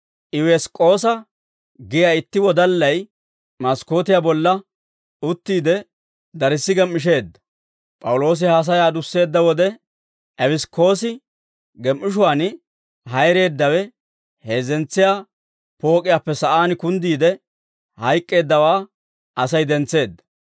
Ewus'ikoosa giyaa itti wodallay maskkootiyaa bolla uttiide, darssi gem"isheedda. P'awuloosi haasayaa adusseedda wode, Ewus'ikoosi gem"ishuwaan hayreeddawe heezzentsiyaa pook'iyaappe sa'aan kunddiide hayk'k'eeddawaa Asay dentseedda.